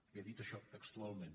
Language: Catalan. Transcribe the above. li ha dit això textualment